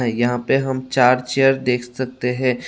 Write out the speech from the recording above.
यहां पे हम चार चेयर देख सकते हैं।